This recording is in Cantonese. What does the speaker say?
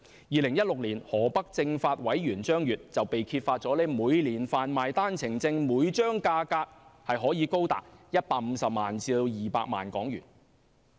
2016年河北政法委員張越被揭發每年販賣單程證每張價格高達150萬港元至200萬港元。